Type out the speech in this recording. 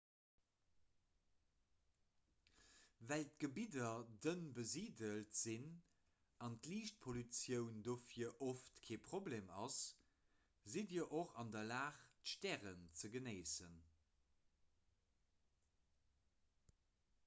well d'gebidder dënn besiidelt sinn a liichtpollutioun dohier oft kee problem ass sidd dir och an der lag d'stären ze genéissen